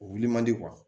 O wili man di